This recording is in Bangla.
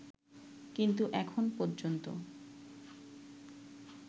কিন্তু এখন পর্যন্ত